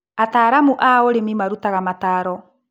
Ataalamu a ũrĩmi marutaga mataro.